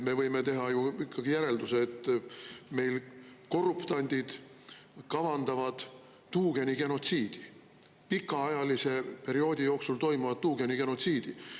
Me võime teha ju ikkagi järelduse, et meil korruptandid kavandavad tuugenigenotsiidi, pikaajalise perioodi jooksul toimuvat tuugenigenotsiidi.